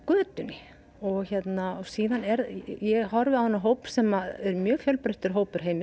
götunni ég horfi á þennan hóp sem er mjög fjölbreyttur hópur